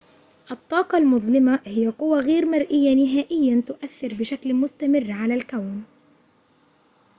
الطاقة المظلمة هي قوى غير مرئية نهائياً تؤثر بشكل مستمر على الكون